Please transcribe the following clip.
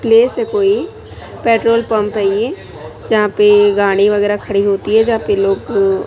place है कोई petrol pump है ये यहां पे गाड़ी वगैरह खड़ी होती है यहां पे लोग--